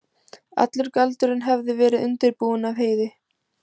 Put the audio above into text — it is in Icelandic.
Allur galdurinn hafði verið undirbúinn af Heiði.